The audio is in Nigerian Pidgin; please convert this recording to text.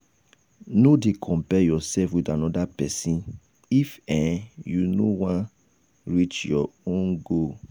no dey compare yourself with anoda pesin if um you you wan um reach your um goal